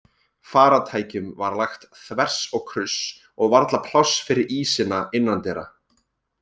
Farartækjum var lagt þvers og kruss og varla pláss fyrir ísina innandyra.